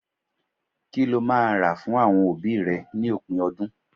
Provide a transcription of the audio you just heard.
Kí lo máa rà fún àwọn òbí rẹ ní òpin ọdún?